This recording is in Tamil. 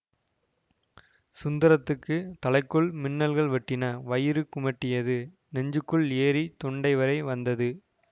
சுந்தரத்துக்குத் தலைக்குள் மின்னல்கள் வெட்டின வயிறு குமட்டியது நெஞ்சுக்குள் ஏறி தொண்டை வரை வந்தது